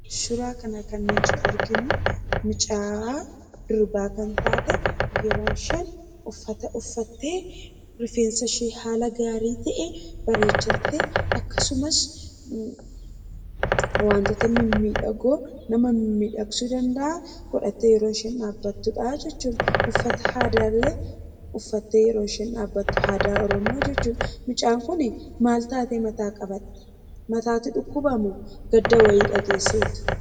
Suuraa kana kan nuti arginu mucaa durbaa kan taate yeroo isheen uffata uffatte: rifeensashee haala gaarii ta'een bareechattee akkasumas wantoota mimmiidhagoo nama mimmidhagsu danda'an ggodhattee yeroo ishen dhaabattudhaa jechuudha. Uffata aadaallee uffattee yeroo dhaabattu uffata aadaa Oromoo jechuudha. Mucaan kun maal taatee mataa qabatte? Mataatu dhukkuba moo gadda wa'ii dhageesseeti?